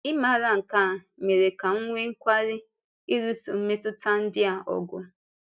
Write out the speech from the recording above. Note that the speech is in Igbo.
Ịmàrà nke a mere ka m nwee nkwáli ịlụso mmetụta ndị a ọgụ.